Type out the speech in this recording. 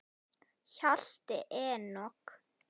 Hjalti Enok.